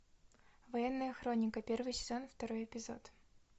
военная хроника первый сезон второй эпизод